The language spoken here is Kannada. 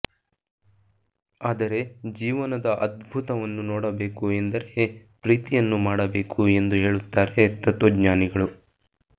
ಆದರೆ ಜೀವನದ ಅದ್ಭುತವವನ್ನು ನೋಡಬೇಕು ಎಂದರೆ ಪ್ರೀತಿಯನ್ನು ಮಾಡಬೇಕು ಎಂದು ಹೇಳುತ್ತಾರೆ ತತ್ವಜ್ಞಾನಿಗಳು